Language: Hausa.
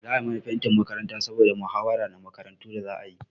Za a yi mana fentin makaranta saboda mahawara na makarantu da za a yi.